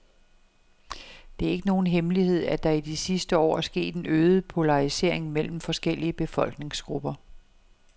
Det er ikke nogen hemmelighed, at der i de sidste år er sket en øget polarisering mellem forskellige befolkningsgrupper.